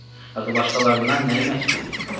Axı başqalarından nəyi məski idi?